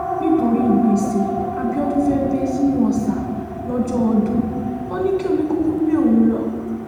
nítorí gbèsè abiodun fee bẹ́ sínú ọ̀sà lọ́jọ́ ọdún ò ní kí omi kúkú gbé òun lọ